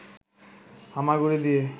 হামাগুড়ি দিয়ে